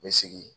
N bɛ segin